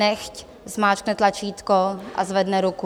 Nechť zmáčkne tlačítko a zvedne ruku.